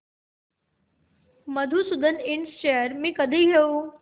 मधुसूदन इंड शेअर्स मी कधी घेऊ